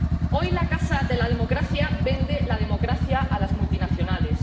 Hoy, la casa de la democracia vende la democracia a las multinacionales.